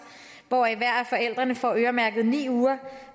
hvoraf hver af forældrene får øremærket ni uger